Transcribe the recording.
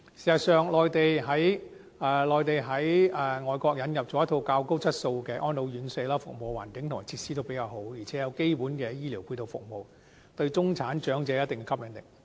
事實上，內地在外國引入了一套較高質素的安老院舍，服務環境和設施也比較好，而且有基本的醫療配套服務，對中產長者有一定的吸引力。